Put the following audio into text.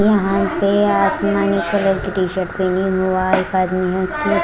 यहाँ पे आसमानी कलर की टीशर्ट पहनी हुआ है एक आदमी ने--